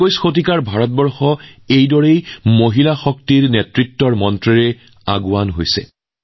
একবিংশ শতিকাৰ ভাৰতে মহিলা নেতৃত্বাধীন উন্নয়নৰ মন্ত্ৰৰে আগবাঢ়িছে